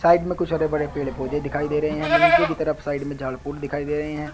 Side में कुछ हरे-भरे पेड़ पौधे दिखाई दे रहे हैं। हमें नीचे की तरफ साइड में झाड़ फूड दिखाई दे रहे हैं।